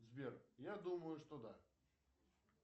сбер я думаю что да